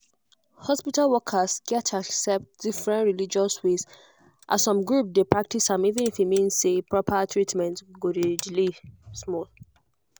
hospital workers gats accept different religious ways as some groups dey practice am even if e mean say proper treatment go delay small.